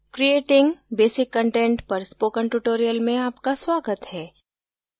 creating basic content पर spoken tutorial में आपका स्वागत है